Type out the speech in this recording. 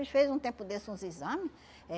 Ele fez um tempo desses uns exame eh